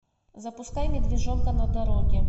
запускай медвежонка на дороге